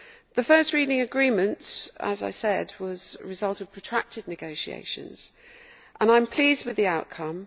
The first reading agreement, as I said, was the result of protracted negotiations, and I am pleased with the outcome.